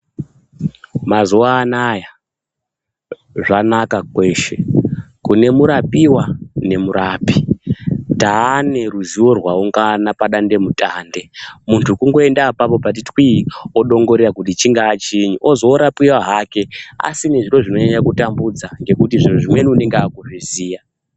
Mazuwa anaya zvanaka kweshe. Kune murapiwa nemurapi. Taane ruziwo rwaungana padandemutande, muntu kungoenda apapo pati twii odongorera kuti chingaa chinyi ozorapiwa hake asina zviro zvinonyanya kutambudza ngekuti zvimweni unonga akuzviziya.